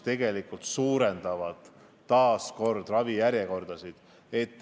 Need ju pikendavad ravijärjekordasid.